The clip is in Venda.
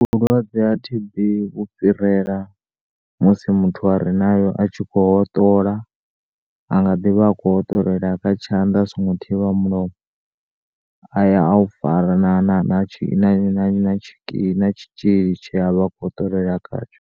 Vhulwadze ha T_B vhu fhirela musi muthu arenayo a tshi kho hoṱola a nga ḓivha a kho hoṱolela kha tshanda a so ngo thivha mulomo aya aufara na na na thsi, tshitzhili tshi a vha a kho hotolela khatsho.